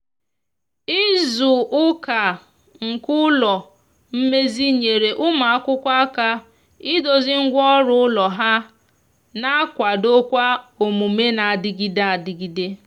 izu uka nke ụlọ mmezi nyere ụmụ akwụkwo aka ịdozi ngwa ọrụ ụlọ ha na akwado kwa omume na adigide adigide